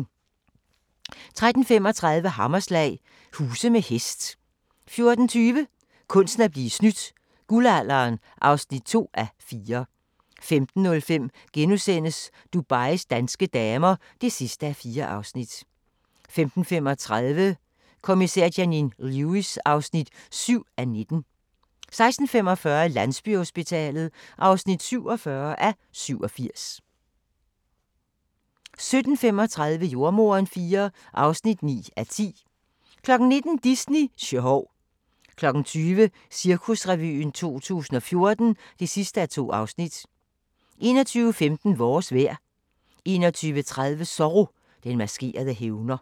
13:35: Hammerslag – huse med hest 14:20: Kunsten at blive snydt - guldalderen (2:4) 15:05: Dubais danske damer (4:4)* 15:35: Kommissær Janine Lewis (7:19) 16:45: Landsbyhospitalet (47:87) 17:35: Jordemoderen IV (9:10) 19:00: Disney sjov 20:00: Cirkusrevyen 2014 (2:2) 21:15: Vores vejr 21:30: Zorro - den maskerede hævner